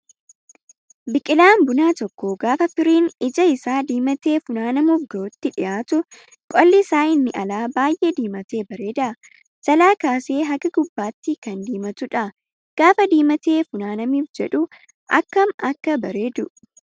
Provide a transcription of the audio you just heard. Biqilaan bunaa tokko gaafa firiin ija isaa diimatee funaanamuuf gahuutti dhiyaatu qolli isaa inni alaa baay'ee diimatee bareeda. Jalaa kaasee haga gubbaatti kan diimatudha. Gaafa diimatee funaanamuuf jedhu akkam Akka bareedu